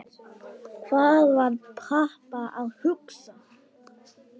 Hvað var Papa að hugsa?